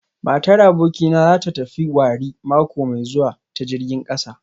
Matar abokina za ta tafi wari mako mai zuwa ta jirgin kasa